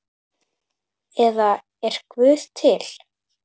eða Er Guð til?